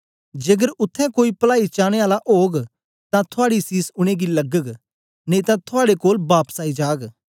जेकर उत्थें कोई पलाई चाने आला ओग तां थुआड़ी सीस उनेंगी लगग नेई तां थुआड़े कोल बापस आई जाग